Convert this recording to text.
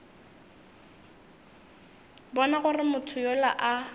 bona gore motho yola a